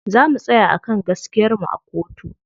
Za mu tsaya a kan gaskiyar mu a kotu.